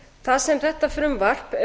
það sem þetta frumvarp